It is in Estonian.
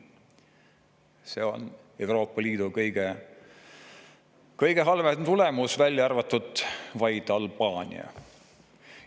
See on Euroopa Liidu kõige halvem tulemus, välja arvatud vaid Albaania.